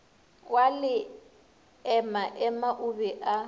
wa leemaema o be a